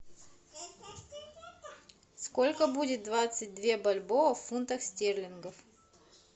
сколько будет двадцать две бальбоа в фунтах стерлингов